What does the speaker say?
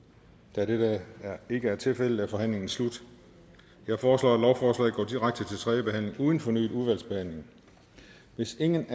da dette ikke er tilfældet er forhandlingen slut jeg foreslår at lovforslaget går direkte til tredje behandling uden fornyet udvalgsbehandling hvis ingen